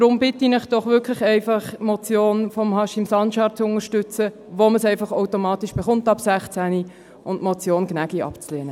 Deshalb bitte ich Sie wirklich, doch einfach die Motion von Haşim Sancar zu unterstützen, wo man das Stimm- und Wahlrecht ab 16 einfach automatisch erhält, und die Motion Gnägi abzulehnen.